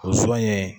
O sɔnɲɛ